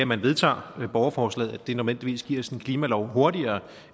man vedtager borgerforslaget nødvendigvis giver os en klimalov hurtigere